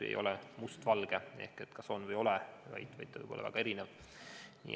See ei ole must-valge ehk kas on või ei ole, vaid see võib olla väga erinev.